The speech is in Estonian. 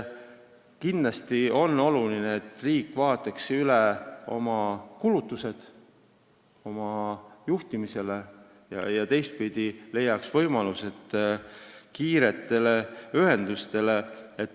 Kindlasti on oluline, et riik vaataks üle oma kulutused juhtimisele ja teistpidi leiaks võimalused rajada kiiremaid ühendusi.